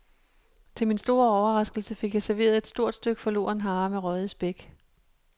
Til min store overraskelse fik jeg serveret et stort stykke forloren hare med røget spæk.